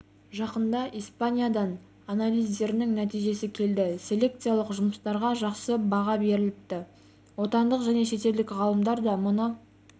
жақында испаниядан анализдерінің нәтижесі келді селекциялық жұмыстарға жақсы баға беріліпті отандық және шетелдік ғалымдар да мұны